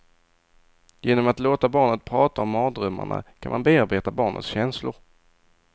Genom att låta barnet prata om mardrömmarna kan man bearbeta barnets känslor.